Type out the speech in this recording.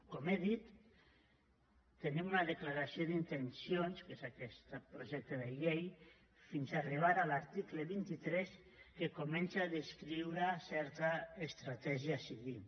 com he dit tenim una declaració d’intencions que és aquest projecte de llei fins a arribar a l’article vint tres que comença a descriure certa estratègia a seguir